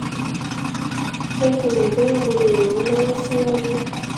jẹ́ kí n mọ̀ bóyá mo lè ran ọ́ lọ́wọ́ síwájú